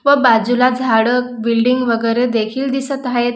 व बाजूला झाड बिल्डिंग वगैरे देखील दिसत हायेत.